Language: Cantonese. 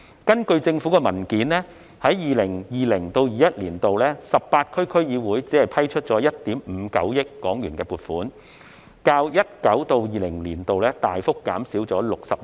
根據政府的文件，在 2020-2021 年度 ，18 區區議會只批出了1億 5,900 萬港元的撥款，較 2019-2020 年度大幅減少 61%。